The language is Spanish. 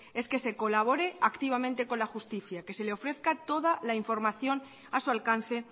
es que se colabore activamente con la justicia que se le ofrezca toda la información a su alcance